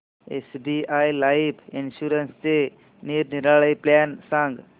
SBI life इन्शुरन्सचे निरनिराळे plan सांग